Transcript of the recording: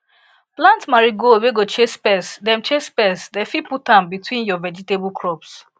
plant marigold wey go chase pest dem chase pest dem fit put am between your vegetable crops